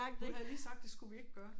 Hun havde lige sagt det skulle vi ikke gøre